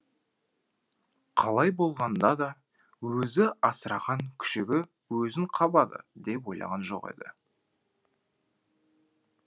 қалай болғанда да өзі асыраған күшігі өзін қабады деп ойлаған жоқ еді